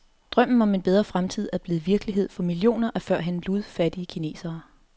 Drømmen om en bedre fremtid er blevet virkelighed for millioner af førhen ludfattige kinesere.